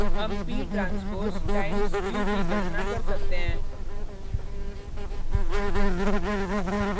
हम ptranspose times q की गणना कर सकते हैं: